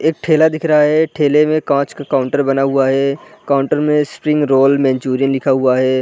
एक ठेला दिख रहा है ठेले में कांच का काउंटर बना हुआ है काउंटर में स्प्रिंग रोल मेनचूरियन लिखा हुआ है।